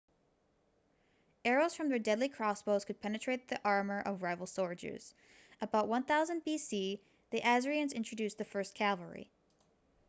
arrows from their deadly crossbows could penetrate the armor of rival soldiers about 1000 b.c. the assyrians introduced the first cavalry